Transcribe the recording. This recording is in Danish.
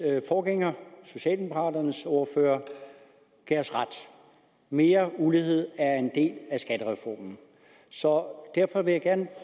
forgænger socialdemokraternes ordfører gav os ret mere ulighed er en del af skattereformen så derfor vil jeg